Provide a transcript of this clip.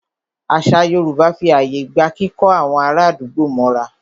Àṣà Yorùbá fí ààyè gba kíkó àwọn ará àdúgbò mọ́ra.